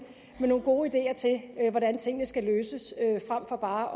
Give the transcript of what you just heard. med nogle gode ideer til hvordan tingene skal løses frem for bare